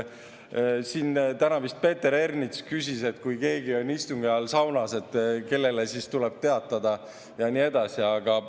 Siin täna vist Peeter Ernits küsis, et kui keegi on istungi ajal saunas, kellele tuleb teatada, ja nii edasi.